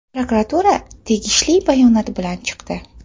Prokuratura tegishli bayonot bilan chiqdi.